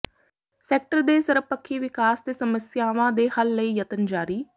sector ਦੇ ਸਰਬਪੱਖੀ ਵਿਕਾਸ ਤੇ ਸੱਮਸਿਆਵਾਂ ਦੇ ਹੱਲ ਲਈ ਯਤਨ ਜਾਰੀ